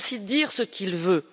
Il sait aussi dire ce qu'il veut.